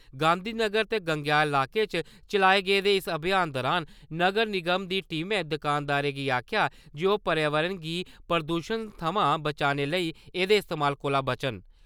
गांधीनगर ते गंगेयाल इलाके च चलाए गेदे इस अभियान दौरान नगर निगम दी टीमै दकानदारें गी आक्खेआ जे ओह् पर्यावरण गी प्रदूशन सवां बचाने लेई एह्दे इस्तेमाल कोह्‌ला बचन।